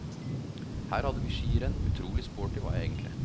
Her hadde vi skirenn, utrolig sporty var jeg egentlig.